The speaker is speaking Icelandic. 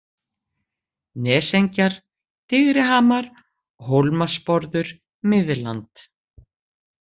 Nesengjar, Digrihamar, Hólmasporður, Miðland